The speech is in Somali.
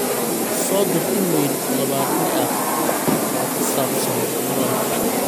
soo dir iimayl todobaadle ah oo ku saabsan kulanka